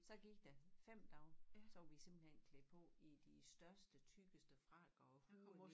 Så gik der 5 dage så var vi simpelthen klædt på i de største tykkeste frakker og huer